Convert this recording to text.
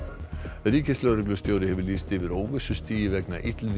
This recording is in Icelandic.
ríkislögreglustjóri hefur lýst yfir óvissustigi vegna illviðris